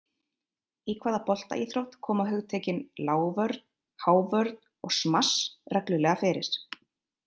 Í hvaða boltaíþrótt koma hugtökin, lágvörn, hávörn og smass, reglulega fyrir?